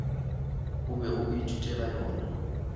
o bego o ithutela yona